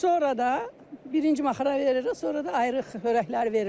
Sonra da birinci maxara veririk, sonra da ayrıq xörəkləri veririk.